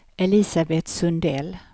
Elisabet Sundell